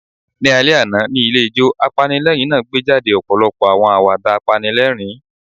Ni alẹ ana, ni ilé ijo, apanilẹrin naa gbejade ọpọlọpọ awọn awada panilerin